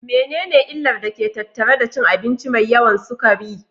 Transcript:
Menene illar da ke tattare da cin abinci mai yawan sukari?